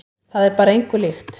Það er bara engu líkt.